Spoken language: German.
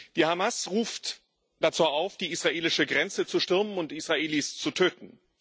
Die Hamas ruft dazu auf, die israelische Grenze zu stürmen und Israelis zu töten.